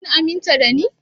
Kun aminta da ni?